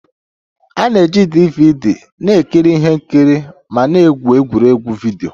A na-eji DVD na-ekiri ihe nkiri ma na-egwu egwuregwu vidio